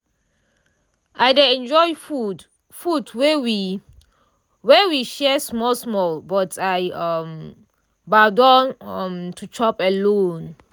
i dey enjoy food food wey we wey we share small small but i um gbadun um to chop alone.